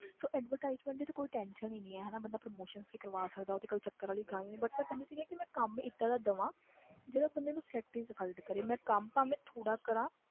ਸੋ advertisement ਦੀ ਤੇ ਕੋਈ tension ਹੀ ਨੀ ਹੈ ਹਨਾ ਬੰਦਾ promotions ਵੀ ਕਰਵਾ ਸਕਦਾ ਉਹ ਤੇ ਕੋਈ ਚੱਕਰ ਵਾਲੀ ਗੱਲ ਨੀ but ਮੈਂ ਕਹਿੰਦੀ ਸੀਗੀ ਕਿ ਮੈਂ ਕੰਮ ਏਦਾਂ ਦਾ ਦੇਵਾਂ ਜਿਹੜਾ ਬੰਦੇ ਨੂੰ satisfied ਕਰੇ ਮੈਂ ਕੰਮ ਭਾਵੇਂ ਥੋੜ੍ਹਾ ਕਰਾਂ